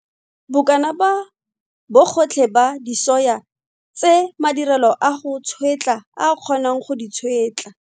Bokana ba bogotlhe ba disoya tse madirelo a go tšhwetla a kgonang go di tšhwetla.